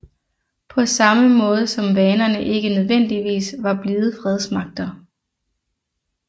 På samme måde som vanerne ikke nødvendigvis var blide fredsmagter